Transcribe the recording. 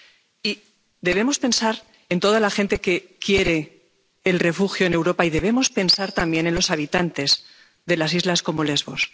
Y debemos pensar en toda la gente que quiere el refugio en Europa y debemos pensar también en los habitantes de las islas como Lesbos.